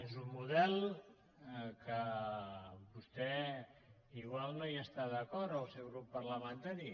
és un model que vostè potser no hi està d’acord o el seu grup par·lamentari